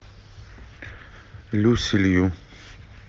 люси лью